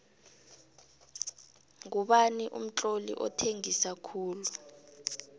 ngubani umtloli othengisa khulu